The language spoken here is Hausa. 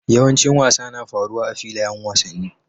Yawancin wasa na faruwa a filayen wasanni.